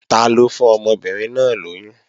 Taló fún ọmọbìnrin náà lóyún?